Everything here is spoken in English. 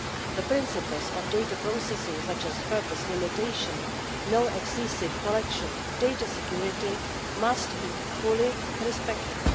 The principles of data processing, such as purpose limitation, no excessive collection, data security must be fully respected.